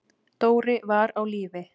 Dóri var á lífi.